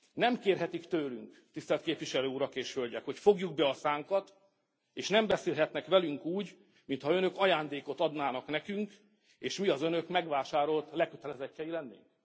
Nem kérhetik tőlünk, tisztelt Képviselő Urak és Hölgyek, hogy fogjuk be a szánkat, és nem beszélhetnek velünk úgy, mintha Önök ajándékot adnának nekünk, és mi az Önök megvásárolt lekötelezettjei lennénk.